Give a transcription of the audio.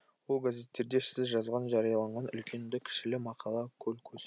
ол газеттерде сіз жазған жариялаған үлкенді кішілі мақала көл көс